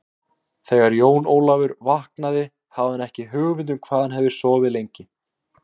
Þegar Jón Ólafur vaknaði hafði hann ekki hugmynd um hvað hann hafði sofið lengi.